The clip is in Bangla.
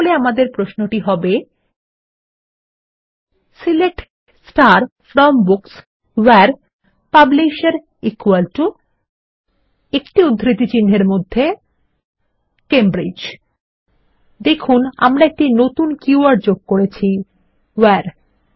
তাহলে আমাদের প্রশ্নটি হবে160 সিলেক্ট ফ্রম বুকস ভেরে পাবলিশের একটি উদ্ধিতি চিনহের মধ্যে ক্যামব্রিজ লক্ষ্য করুন আমরা একটি নতুন কী ওয়ার্ড যোগ করেছি ভেরে